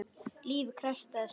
Lífið krefst þess.